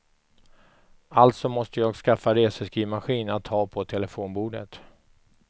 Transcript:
Alltså måste jag skaffa reseskrivmaskin att ha på telefonbordet.